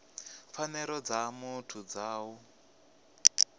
pfanelo dza muthu dza u